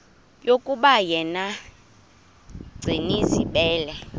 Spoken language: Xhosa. yokuba yena gcinizibele